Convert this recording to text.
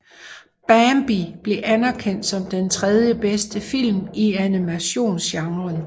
Bambi blev anerkendt som den tredje bedste film i animationsgenren